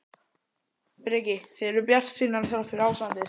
Breki: Þið eruð bjartsýnar þrátt fyrir ástandið?